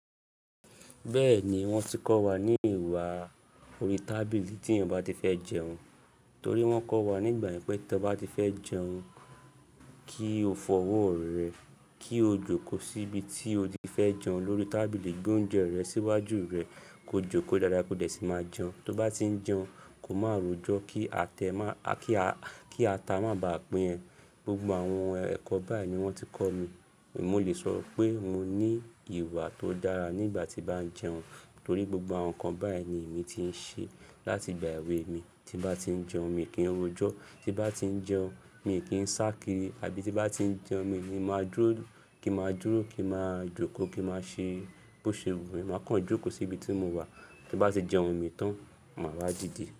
Bẹ́ẹ̀ ni wọ́n ti kọ́ wa ní ìwà orí tábìlì tí yàn bá ti fẹ́ jẹun, torí wọ́n kọ́ wa nígbà yẹn pé tí ẹ bá ti fẹ́ jẹun, kí o fọ ọwọ́ rẹ, kí o jókòó síbi tí o ti fẹ́ jẹun lórí tábìlì, gbé oúnjẹ rẹ síwájú rẹ, ko jókòó dáadáa kó dẹ̀ sì máa jẹun. Tó bá ti n jẹun, kó má rojo, kí atẹ má–kí ata má bàa pín ẹ. Gbgbo àwọn ẹ̀kọ́ báyìí ni wọ́n ti kọ́ mi, mo lè sọ pé mo ní ìwà tó dára nígbà tí bá n jẹun, torí gbogbo àwọn nǹkan báyìí ni èmi ti ń ṣe láti ìgbà èwe mi. Tí n bá ti ń jẹun mi kí n rojo, tí bá ti ń jẹun mi kí ń sá kiri àbí tí bá ti ń jẹun mi ni màá dúró kí n màá dúró kí n màá jókòó kí màá ṣe bó ṣe wù mí, màá kan jókòó sí ibi tí mo wà, tí n bá ti jẹun mi tán, màá wá dìde.